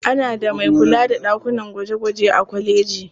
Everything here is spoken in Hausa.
Ana da mai kula da ɗakunan gwaje-gwaje a kwaleji.